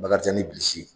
Bakarijan ni bilisi